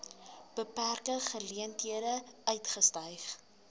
beperkte geleenthede uitgestyg